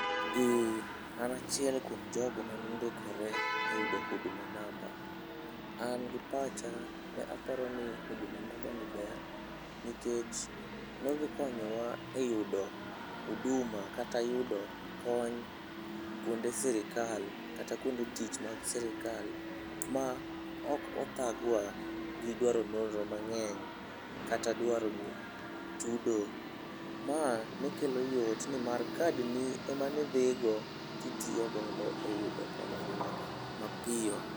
An achiel kuom jogo manondikore e yudo Huduma namba. An gi pacha neparoni Huduma nambani ber nikech ne odhi konyowa e yudo huduma kata yudo kony kwonde sirikal kata kwonde tich mag sirikal ma ok othagwa gidwaro nonro mang'eny kata dwaro chudo. Ma ne kelo yot nimar kadni ema nidhi go titiyo godo e yudo konyruok mapiyo.